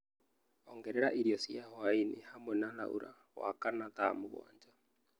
ongerera irio cia hwaĩ-inĩ hamwe na Laura wa kana thaa mũgwanja